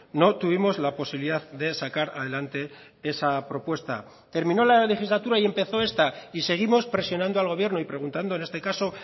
no tuvimos la posibilidad de sacar adelante esa propuesta terminó la legislatura y empezó esta y seguimos presionando al gobierno y preguntando en este caso